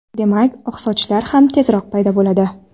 Demak, oq sochlar ham tezroq paydo bo‘ladi.